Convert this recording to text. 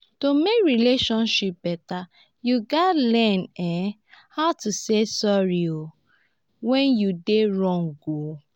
to mek relationship beta yu gats learn um how to say sorry um wen yu dey wrong.